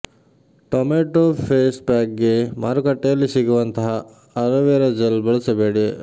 tomato face pack ಗೆ ಮಾರುಕಟ್ಟೆಯಲ್ಲಿ ಸಿಗುವಂತಹ ಅಲೋವೆರಾ ಜೆಲ್ ಬಳಸಬೇಡಿ